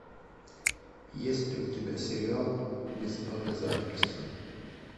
есть ли у тебя сериал без обязательств